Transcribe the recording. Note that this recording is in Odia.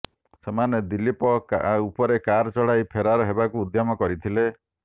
ସେମାନେ ଦିଲ୍ଲୀପ ଉପରେ କାର୍ ଚଢ଼ାଇ ଫେରାର ହେବାକୁ ଉଦ୍ୟମ କରିଥିଲେ